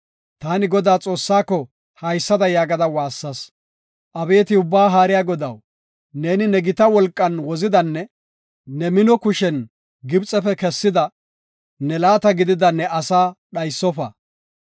Taani Godaa Xoossaako haysada yaagada woossas; “Abeeti Ubbaa Haariya Godaw, neeni ne gita wolqan wozidanne ne mino kushen Gibxefe kessida, ne laata gidida ne asaa dhaysofa.